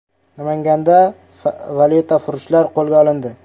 Namanganda valyutafurushlar qo‘lga olindi.